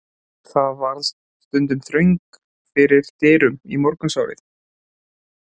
Þar varð stundum þröng fyrir dyrum í morgunsárið.